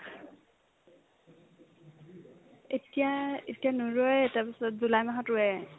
এতিয়া এতিয়া নুৰুয়ে তাৰপিছত জুলাই মাহত ৰুয়ে